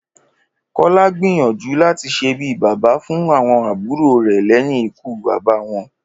Kó̩lá gbìyànjú láti s̩e bí bàbá fún àwo̩n àbúrò rè̩ lé̩yìn ikú bàbá wo̩n